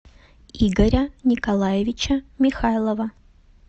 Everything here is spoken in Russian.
игоря николаевича михайлова